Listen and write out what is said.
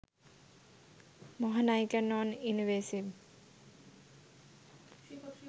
মহানায়িকার non invasive